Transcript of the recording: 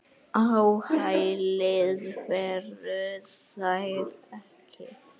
Á hælið færu þær ekki.